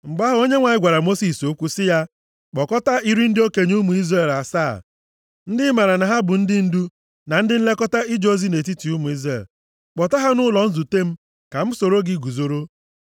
Mgbe ahụ, Onyenwe anyị gwara Mosis okwu sị ya, “Kpọkọta iri ndị okenye ụmụ Izrel asaa, ndị ị maara na ha bụ ndị ndu, na ndị nlekọta ije ozi nʼetiti ụmụ Izrel. Kpọta ha nʼụlọ nzute m ka ha soro gị guzoro.